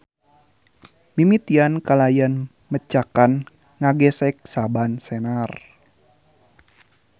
Mimitian kalayan mecakan ngagesek saban senar.